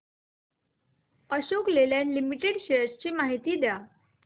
Ashok Leyland limited shares ची माहिती द्या